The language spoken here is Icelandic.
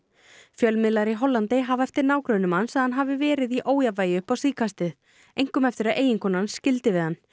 fjölmiðlar í Hollandi hafa eftir nágrönnum hans að hann hafi verið í ójafnvægi upp á síðkastið einkum eftir að eiginkona hans skildi við hann